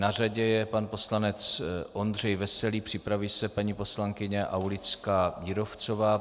Na řadě je pan poslanec Ondřej Veselý, připraví se paní poslankyně Aulická Jírovcová.